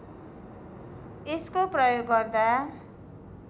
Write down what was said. यसको प्रयोग गर्दा